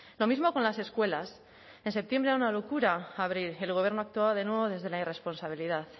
lo mismo con las escuelas en septiembre era una locura abrir el gobierno actuaba de nuevo desde la irresponsabilidad